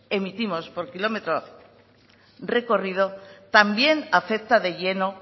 emitimos por kilometro recorrido también afecta de lleno